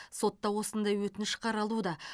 сотта осындай өтініш қаралуда